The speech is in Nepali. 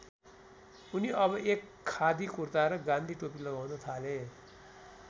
उनि अब एक खादी कुर्ता र गान्धी टोपी लगाउन थाले।